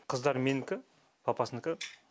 қыздар менікі папасыныкы